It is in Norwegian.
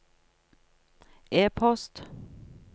e-post